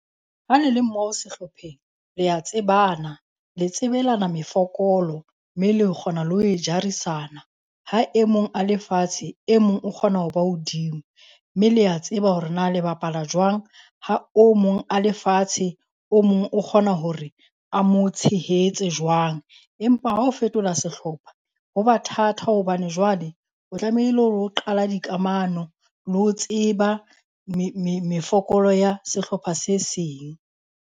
Ha le le mo sehlopheng lea tsebana le tsebelana mefokolo mme le kgona ho e jarisana. Ha e mong a le fatshe, e mong o kgona ho ba hodimo. Mme lea tseba hore na le bapala jwang. Ha o mong a le fatshe, o mong o kgona hore a mo tshehetse jwang. Empa, ha ho fetola sehlopha, ho ba thata hobane jwale o tlamehile hore o qala dikamano le ho tseba mefokolo ya sehlopha se seng.